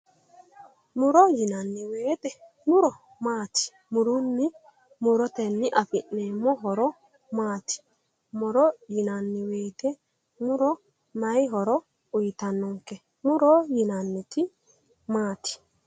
Muro yinanni wooyiite, muro maati? murunni murotenni afi'neemmo horo maati, muro yinanni woyiite muro maayi horo uuyiitannonke? murobyinanniti maati?